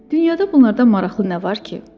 Dünyada bunlardan maraqlı nə var ki?